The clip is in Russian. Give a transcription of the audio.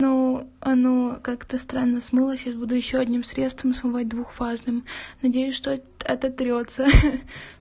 ну оно как-то странно смылось сейчас буду ещё одним средством смывать двухфазным надеюсь что ототрётся